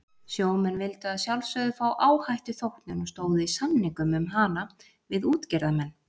Sjómenn vildu að sjálfsögðu fá áhættuþóknun og stóðu í samningum um hana við útgerðarmenn.